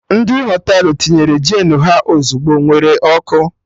Ndị Họtelụ tinyere Jenụ ha ozigbo ewere ọkụ